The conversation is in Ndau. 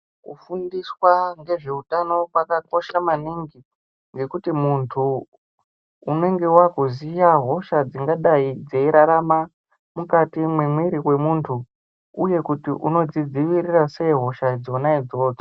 Kufundiswa ngezveutano kwakakosha maningi ngekuti muntu unenge wakuziya hosha dzingadai dzeirarama mukati mwemwiri wemuntu uye kuti unodzidziirira sei hosha dzona idzodzo.